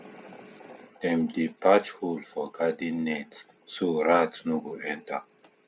dem dey patch hole for garden net so rat no go enter